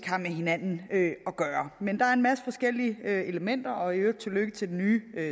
har med hinanden at gøre men der er en masse forskellige elementer og i øvrigt tillykke til den nye